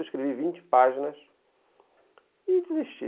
Eu escrevi vinte páginas e desisti.